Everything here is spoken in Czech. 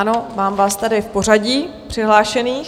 Ano, mám vás tady v pořadí přihlášených.